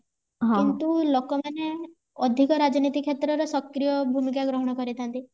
କିନ୍ତୁ ଲୋକ ମାନେ ଅଧିକ ରାଜନୀତି କ୍ଷେତ୍ର ରେ ସକ୍ରିୟ ଭୂମିକା ଗ୍ରହଣ କରିଥାନ୍ତି